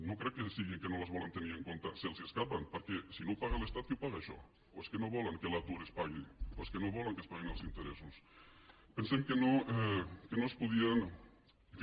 no crec que sigui que no les volen tenir en compte se’ls escapen perquè si no ho paga l’estat qui ho paga això o és que no volen que l’atur es pagui o és que no volen que es paguin els interessos pensem que no es podien en fi